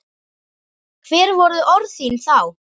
Hver voru orð þín þá?